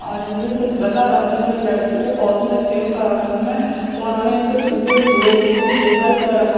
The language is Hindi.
आदमी कुछ बता रहे हैं इस लड़की को चेक करा रहे हैं और हमें इनके पीछे बोर्ड भी दिखाई दे रहा--